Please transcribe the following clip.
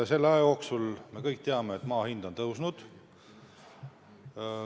Selle aja jooksul, nagu me kõik teame, on maa hind tõusnud.